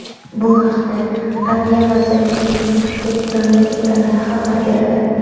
Bu haqda Adliya vazirligining Telegram’dagi kanali xabar beradi .